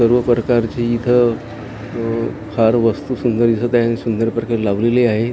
सर्व प्रकारचे इथं अ फार वस्तू सुंदर दिसत आहे आणि सुंदर प्रकारे लावलेली आहे अ --